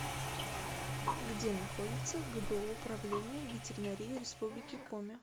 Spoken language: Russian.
где находится гбу управление ветеринарии республики коми